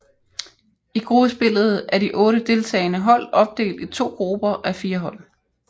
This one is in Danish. I gruppespillet er de otte deltagende hold opdelt i to grupper á fire hold